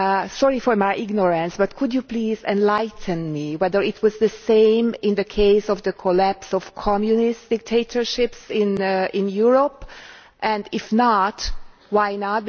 Sorry for my ignorance, but could you please enlighten me as to whether it was the same in the case of the collapse of Communist dictatorships in Europe and, if not, why not?